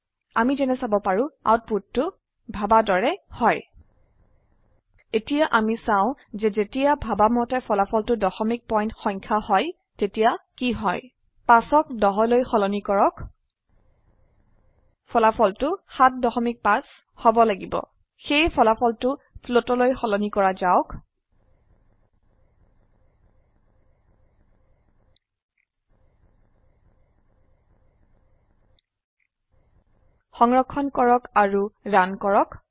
আমি যেনে চাব পাৰো আউটপোটটু আশা বা ভাবা দৰে হয় এতিয়া অামি চাও কি হয় যেতিয়া ভাবা মতে ফলাফলটো দশমিক পয়েন্ট সংখ্যা হয় ৫ক ১০লৈ সলনি কৰক ফলাফলটো ৭৫ হব লাগিব সেয়ে ফলাফলটো ফ্লোট লৈ সলনি কৰা যাওক সংৰক্ষণ কৰক আৰু ৰান কৰক